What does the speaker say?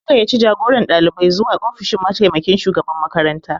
An gayyaci jagoran ɗalibai zuwa ofishin mataimakin shugaban makaranta